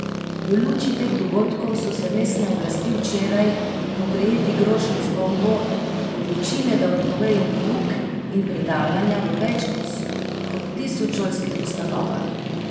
V luči teh dogodkov so se mestne oblasti včeraj, po prejeti grožnji z bombo, odločile, da odpovejo pouk in predavanja v več kot tisoč šolskih ustanovah.